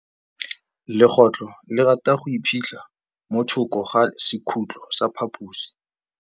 Legôtlô le rata go iphitlha mo thokô ga sekhutlo sa phaposi.